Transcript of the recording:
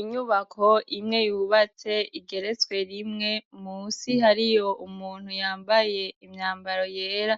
Inyubakwa imwe yubatse igeretswe rimwe, musi hariyo umuntu yambaye imyambaro yera